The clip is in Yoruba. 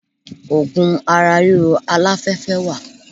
Ògùn ara ríro aláfẹ́fẹ́ wà.